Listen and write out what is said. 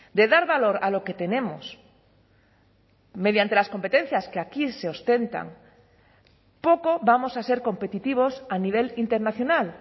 de dar valor a lo que tenemos mediante las competencias que aquí se ostentan poco vamos a ser competitivos a nivel internacional